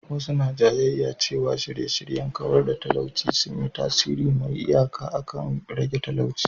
Wasu suna jayayya cewa shirye-shiryen kawar da talauci sun yi tasiri mai iyaka akan rage talauci.